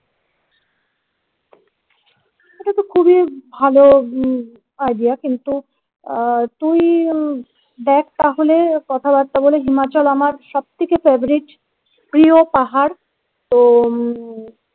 এটাতো খুবই ভালো idea কিন্তু আহ তুই দেখ তাহলে কথাবার্তা বলে হিমাচল আমার সব থেকে favourite প্রিয় পাহাড় তো